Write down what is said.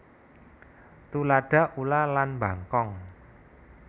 Tuladha ula lan bangkong